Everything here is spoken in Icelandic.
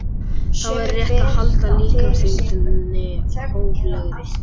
Þá er og rétt að halda líkamsþyngdinni hóflegri.